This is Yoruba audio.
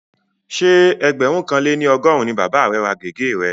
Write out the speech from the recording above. Ṣé ẹgbẹ̀rún kan lé ní ọgọ́rùn-ún ni bàba rẹ̀ ra gègé rẹ̀